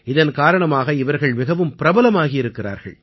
இதன் காரணமாக இவர்கள் மிகவும் பிரபலமாகி இருக்கிறார்கள்